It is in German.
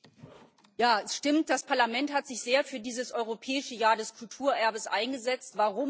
Herr Präsident! Ja, es stimmt. Das Parlament hat sich sehr für dieses Europäische Jahr des Kulturerbes eingesetzt.